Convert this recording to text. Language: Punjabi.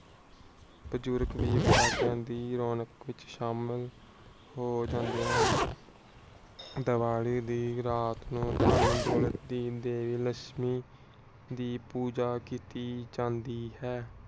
ਪਟਾਖਿਆਂ ਦੀ ਰੌਣਕ ਸ਼ਾਮ ਨੂੰ ਹੋ ਜਾਂਦੇ ਹਨ। ਦੀਵਾਲੀ ਦੀ ਰਾਤ ਨੂੰ ਧਨ ਦੌਲਤ ਦੀਨ ਦੇਵੀ ਲੱਛਮੀ ਦੀ ਪੂਜਾ ਕੀਤੀ ਜਾਂਦੀ ਹੈ.